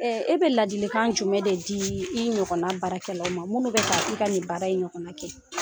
bɛ fɛ ka ladilikan jumɛn de di i ɲɔgɔnna baarakɛlaw ma minnu bɛ ka i ka nin baara in ɲɔgɔn kɛ